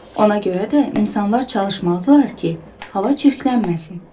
Ona görə də insanlar çalışmalıdırlar ki, hava çirklənməsin.